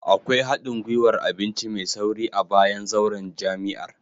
Akwai hadin gwiwar abinci mai sauri a bayan zauren jami'ar